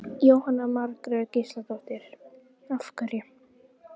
Jóhanna Margrét Gísladóttir: Af hverju?